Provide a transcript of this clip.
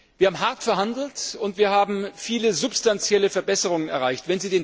Wir haben hart verhandelt, und wir haben viele substanzielle Verbesserungen erreicht.